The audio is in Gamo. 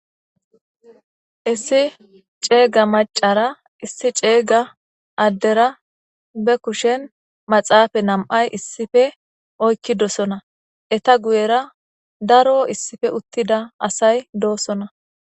Issi ceega macara issi ceega addera be kushen maxaafa nam'ay issife oykkidosona eta guyera daro issife uttida asay doosona